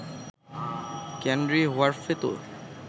canary হোয়ার্ফে তো